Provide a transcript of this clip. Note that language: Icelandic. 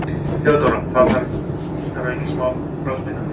THEODÓRA: Þar að auki bráðsmitandi!